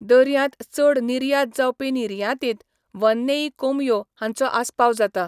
दर्यांत चड निर्यात जावपी निर्यातींत वननेई कोंबयो हांचो आस्पाव जाता.